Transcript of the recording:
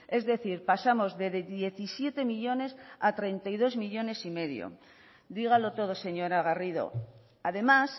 es decir pasamos de diecisiete millónes a treinta y dos coma cinco millónes dígalo todo señora garrido además